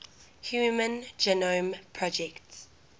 human genome project